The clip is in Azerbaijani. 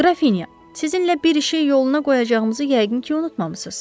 Qrafinya, sizinlə bir işi yoluna qoyacağımızı yəqin ki, unutmamısız.